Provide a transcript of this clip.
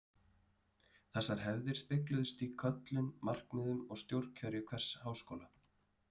Þessar hefðir spegluðust í köllun, markmiðum og stjórnkerfi hvers háskóla.